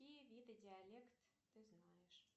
какие виды диалект ты знаешь